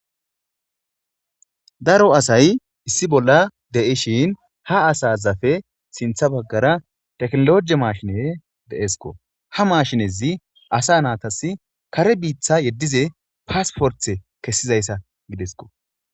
daro asay issi bolla de7ishin ha asazafe sintha baggara teknologie mashine deesko ha maashinezi asa naatas kare biitha yeddize paasporthe kessizayssa gidesko